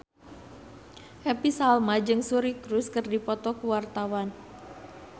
Happy Salma jeung Suri Cruise keur dipoto ku wartawan